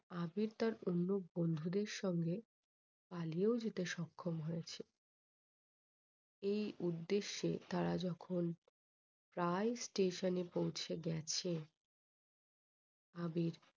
আবির তার অন্য বন্ধুদের সঙ্গে পালিয়েও যেতে সক্ষম হয়েছে। এই উদ্দেশে তারা যখন প্রায় station এ পৌঁছে গেছে আবির